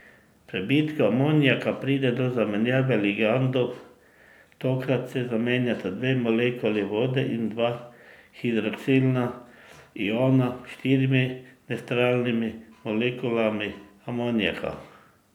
V prebitku amonijaka pride do zamenjave ligandov, tokrat se zamenjata dve molekuli vode in dva hidroksidna iona s štirimi nevtralnimi molekulami amonijaka.